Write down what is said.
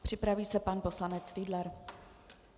Připraví se pan poslanec Fiedler.